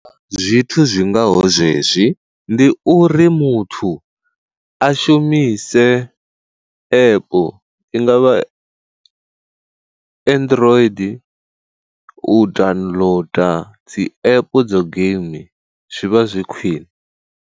Zwithu zwingaho zwezwi ndi uri muthu a shumise app, i ngavha android u downloader dzi app dza game zwivha zwi khwiṋe.